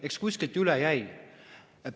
Eks kuskilt üle jäi.